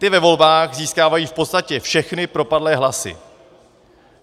Ty ve volbách získávají v podstatě všechny propadlé hlasy.